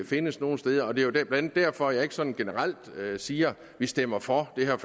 findes nogen steder det det er blandt andet derfor jeg ikke sådan generelt siger at vi stemmer for det her